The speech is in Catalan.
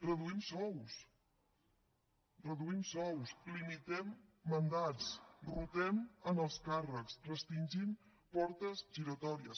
reduïm sous reduïm sous limitem mandats rotem en els càrrecs restringim portes giratòries